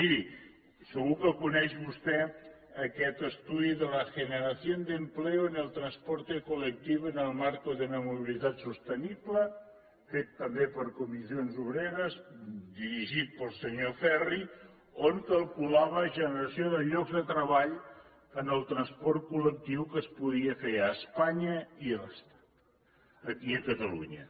miri segur que coneix vostè aquest estudi de la generación de empleo en el transporte colectivo en el marco de una movilidad sostenible fet també per comissions obreres dirigit pel senyor ferri on calculava generació de llocs de treball en el transport collectiu que es podia fer a espanya i a catalunya